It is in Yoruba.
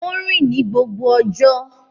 Ó ń rìn ní gbogbo ọjọ́.